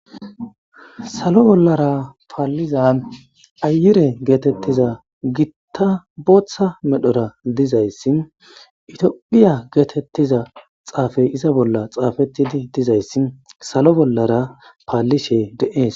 Salo bollara paalliza ayure geetettiza gitta booththa medhora dizayssi itioqiya geetettiza xaafey iza bolla xaafettidi dizayssi salo bollara paallishe de'es